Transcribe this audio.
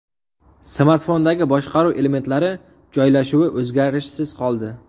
Smartfondagi boshqaruv elementlari joylashuvi o‘zgarishsiz qoldi.